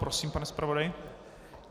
Prosím, pane zpravodaji.